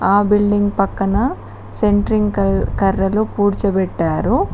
ఆ బిల్డింగ్ పక్కన సెంట్రింగ్ కర్రలు పూడ్చబెట్టారు.